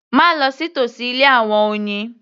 Má lọ sí tòsí ilé àwọn oyin